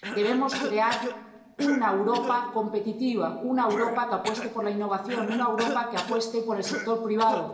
Debemos crear una Europa competitiva, una Europa que apueste por la innovación, una Europa que apueste por el sector privado